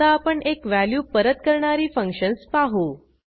आता आपण एक व्हॅल्यू परत करणारी फंक्शन्स पाहू